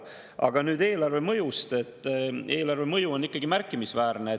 Aga nüüd mõjust eelarvele: see mõju on ikkagi märkimisväärne.